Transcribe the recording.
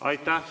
Aitäh!